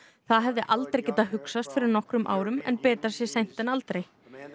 það hefði aldrei getað hugsast fyrir nokkrum árum en betra sé seint en aldrei